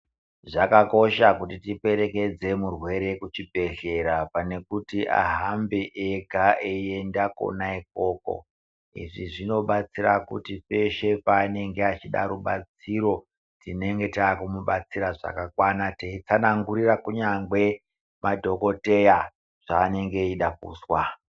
Zvakakosha kuti tiperekedze murwere kuchibhedhlera pane kuti ahambe ega eienda kona ikoko. Izvi zvinobatsira kuti peshe panenge achida rubatsiro tinenge takumubatsira zvakakwana, teitsanangurira kunyangwe madhogkoteya zvanenge eida kuzwa.